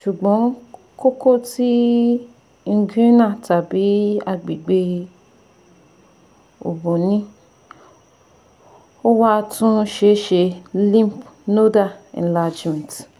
Ṣugbọn koko ti inguinal tabi agbegbe obo ni o wa tun seese lymph nodal enlargement